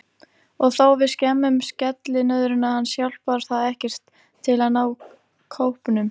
Og þó við skemmum skellinöðruna hans hjálpar það ekkert til að ná kópnum.